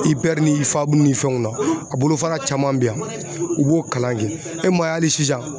IPR ni IFAB ni fɛnw na a bolofara caman bɛ yan u b'o kalan kɛ e maa ye hali sisan.